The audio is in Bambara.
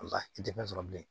Nka i tɛ fɛn sɔrɔ bilen